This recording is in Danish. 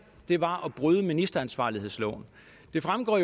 var at bryde ministeransvarlighedsloven det fremgår